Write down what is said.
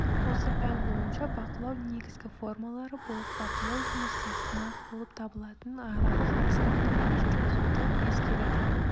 осы пән бойынша бақылау негізгі формалары болып бақылау жұмысы сынақ болып табылатын аралық аттестаттауды жүргізуді ескереді